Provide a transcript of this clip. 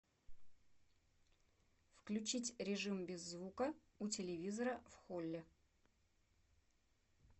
включить режим без звука у телевизора в холле